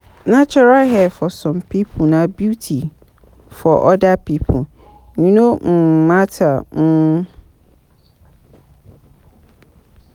Natural hair for some pipo na beauty, for oda pipo e no um matter um